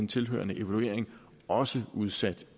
tilhørende evaluering også udsat